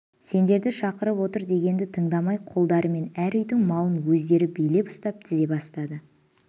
сендерді шақырып отыр дегенді тыңдамай қолдарымен әр үйдің малын өздері билеп ұстап тізе бастады